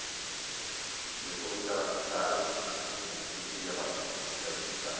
E ele falou que era caro, não não não queria banana, que era muito caro.